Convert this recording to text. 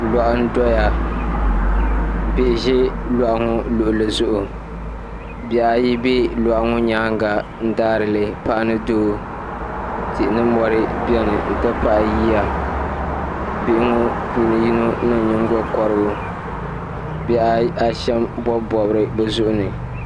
Loɣu n doya bihi ʒi loɣu ŋo luɣuli zuɣu bihi ayi bɛ loɣu ŋo nyaanŋa n daarili paɣa ni dootihi ni mori biɛni n ti pahi yiya bihi ŋo puuni yono niŋ nyingokorigu bihi ashɛm n bobi bobigi bi zuɣuni